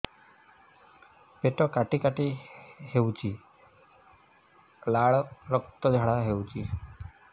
ପେଟ କାଟି କାଟି ହେଉଛି ଲାଳ ରକ୍ତ ଝାଡା ହେଉଛି